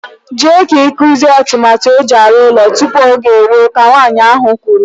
Jee ka iguzie atụmatụ eji ọrụ ụlọ tupu oge eruo, Ka Nwaanyị ahụ kwuru.